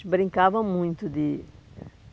A gente brincava muito de.